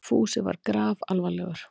Fúsi var grafalvarlegur.